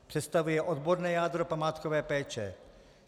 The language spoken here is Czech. Představuje odborné jádro památkové péče.